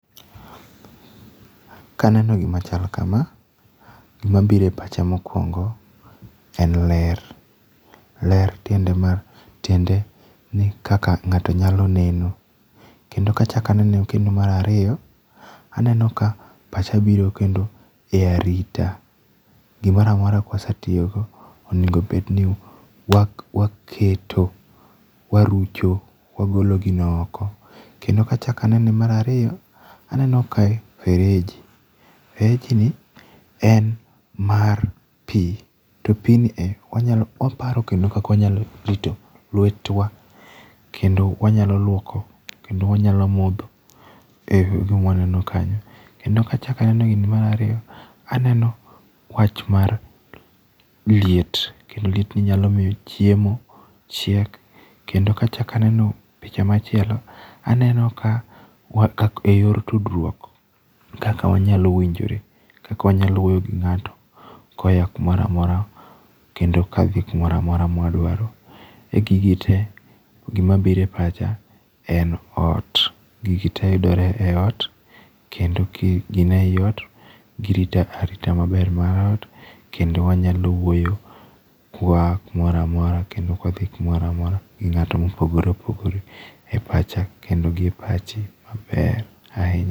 Kaneno gima chal kama, gimabiro e pacha mokuongo en ler. Ler tiende mar, tiende ni kaka ng'ato nyalo neno. Kendo kachak anene kendo mar ariyo, aneno ka pacha biro kendo e arita. Gimoro amora kwasetiyo go, onego bed ni waketo, warucho, wagolo gino oko. Kendo kachak anene mar ariyo, aneno kae fereji. Fereji ni en mar pi. To pi nie wanyalo, waparo kendo kaka wanyalo rito lwetwa kendo wanyalo luoko, kendo wanyalo modho. E gima waneno kanyo. Kendo kachak aneno gini mar ariyo, aneno wach mar liet, kendo liet ni nyalo miyo chiemo chiek. Kendo kachak aneno picha machielo, aneno ka wakak e yor tudruok. Kaka wanyalo winjore, kaka wanyalo wuoyo gi ng'ato koya kumoramora kendo kadhi kumoramora mwadwaro. E gigie te, gimabiro e pacha en ot. Gigi te yudore e ot, kendo ka gin ei ot, girito arita maber mar ot, kendo wanyalo wuoyo kwa aa kumoramora kendo kwadhi kumoramora gi ng'ato mopogore opogore e pacha kendo gi e pachi maber ahinya.